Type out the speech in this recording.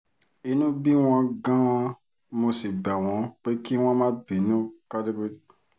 inú bí wọn gan-an mo sì bẹ̀ wọ́n pé kí wọ́n má bínú